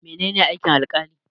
Mene ne aikin Alkali?